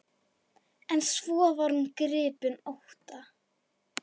En svo varð hún gripin ótta.